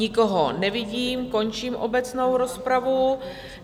Nikoho nevidím, končím obecnou rozpravu.